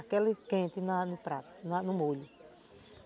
Aquela quente na no prato, no molho.